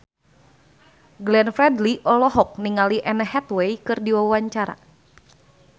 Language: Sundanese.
Glenn Fredly olohok ningali Anne Hathaway keur diwawancara